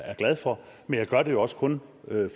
er glad for men jeg gør det også kun